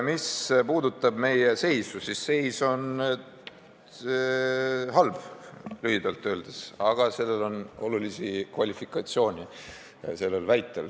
Mis puudutab meie seisu, siis seis on halb, lühidalt öeldes, aga sellel väitel on olulisi kvalifikatsioone.